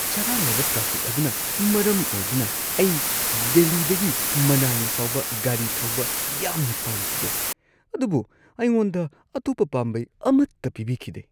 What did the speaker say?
ꯆꯔꯥꯡꯅꯕ ꯇ꯭ꯔꯥꯐꯤꯛ ꯑꯗꯨꯅ ꯃꯔꯝ ꯑꯣꯏꯗꯨꯅ ꯑꯩ ꯗꯤꯜꯂꯤꯗꯒꯤ ꯃꯅꯥꯂꯤ ꯐꯥꯎꯕ ꯒꯥꯔꯤ ꯊꯧꯕ ꯌꯥꯝꯅ ꯄꯥꯝꯈꯤꯗꯦ, ꯑꯗꯨꯕꯨ ꯑꯩꯉꯣꯟꯗ ꯑꯇꯣꯞꯄ ꯄꯥꯝꯕꯩ ꯑꯃꯠꯇ ꯄꯤꯕꯤꯈꯤꯗꯦ꯫